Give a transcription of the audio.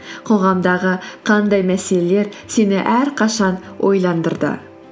қоғамдағы қандай мәселелер сені әрқашан ойландырды